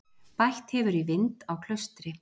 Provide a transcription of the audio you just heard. Bætt hefur í vind á Klaustri